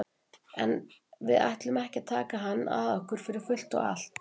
En við ætlum ekki að taka hann að okkur fyrir fullt og allt.